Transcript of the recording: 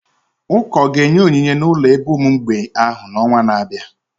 Ụka ọ ga-enye onyinye n'ụlọ ebe ụmụ mgbei ahụ n'ọnwa na-abịa?